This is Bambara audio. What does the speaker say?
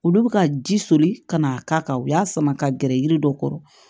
Olu bɛ ka ji soli ka na k'a kan u y'a sama ka gɛrɛ yiri dɔ kɔrɔ